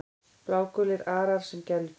Blágulir arar sem gæludýr